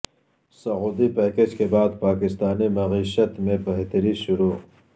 سعودی package کے بعد پاکستانی معیشت میں بہتری شروع